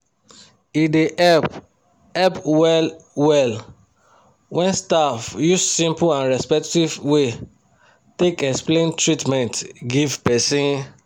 e dey help help well well when staff use simple and respectful way take explain treatment give person.